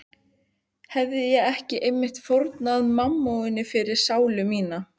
Hefi ég ekki einmitt fórnað mammoni fyrir sálu mína?